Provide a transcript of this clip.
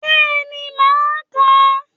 Bẹ́ẹ̀ni màá ka